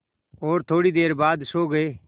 और थोड़ी देर बाद सो गए